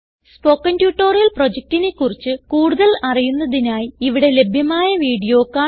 spoken tutorial പ്രൊജക്റ്റിനെ കുറിച്ച് കൂടുതൽ അറിയുന്നതിനായി ഇവിടെ ലഭ്യമായ വീഡിയോ കാണുക